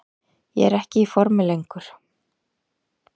Ég er ekki í formi lengur.